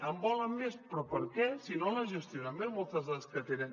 en volen més però per què si no les gestionen bé moltes de les que tenen